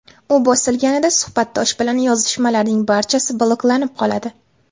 U bosilganida, suhbatdosh bilan yozishmalarning barchasi bloklanib qoladi.